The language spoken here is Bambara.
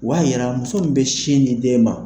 O b'a yira muso min bɛ sin di den ma